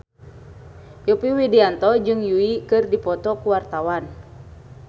Yovie Widianto jeung Yui keur dipoto ku wartawan